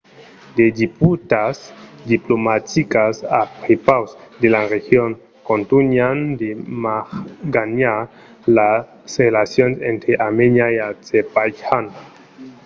de disputas diplomaticas a prepaus de la region contunhan de maganhar las relacions entre armènia e azerbaitjan